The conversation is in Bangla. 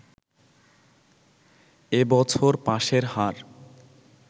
এ বছর পাসের হার